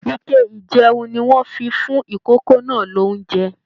Ike ijẹun ní wọn fí fún ikòkò náà l'ounjẹ.